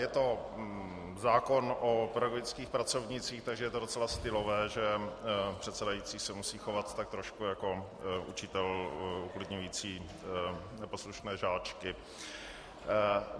Je to zákon o pedagogických pracovnících, takže je to docela stylové, že předsedající se musí chovat tak trošku jako učitel uklidňující neposlušné žáčky.